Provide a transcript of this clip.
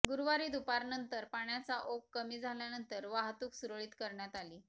गुरुवारी दुपारनंतर पाण्याचा ओघ कमी झाल्यानंतर वाहतूक सुरळीत करण्यात आली